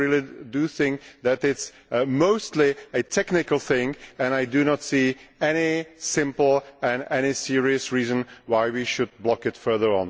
I really do think that it is mostly a technical matter and I do not see any simple and serious reason why we should block it further.